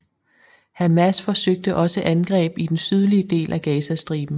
Hamas forsøgte også angreb i den sydlige del af Gazastriben